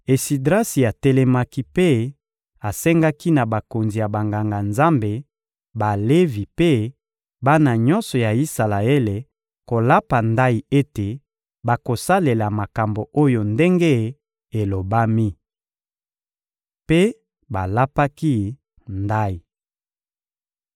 Esidrasi atelemaki mpe asengaki na bakonzi ya Banganga-Nzambe, Balevi mpe bana nyonso ya Isalaele kolapa ndayi ete bakosalela makambo oyo ndenge elobami. Mpe balapaki ndayi.